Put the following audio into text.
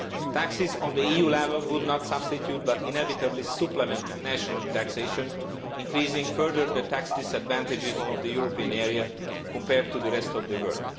Taxes at the EU level would not substitute, but inevitably supplement, national taxation, increasing further the tax disadvantages of the European area compared to the rest of the world.